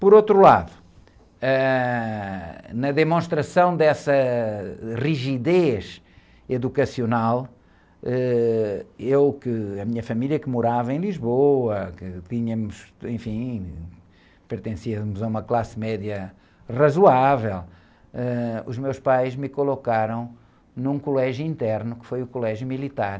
Por outro lado, ãh, na demonstração dessa, ãh, rigidez educacional, ãh, eu que, a minha família, que morava em Lisboa, que tínhamos, enfim, pertencíamos a uma classe média razoável, eh, os meus pais me colocaram num colégio interno, que foi o colégio militar,